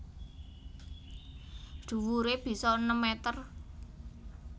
Dhuwuré bisa enem meter